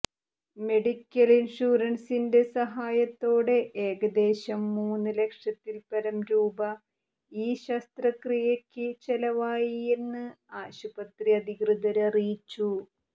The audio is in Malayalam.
മെഡിക്കല് ഇന്ഷ്വറന്സിന്റെ സഹായത്തോടെ ഏകദേശം മൂന്ന് ലക്ഷത്തില്പരം രൂപ ഈ ശസ്ത്രക്രിയയ്ക്ക് ചെലവായിയെന്ന് ആശുപത്രി അധികൃതര് അറിയിച്ചു